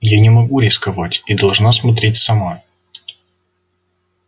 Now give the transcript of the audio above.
я не могу рисковать и должна смотреть сама